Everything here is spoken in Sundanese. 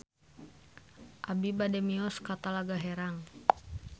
Abi bade mios ka Talaga Herang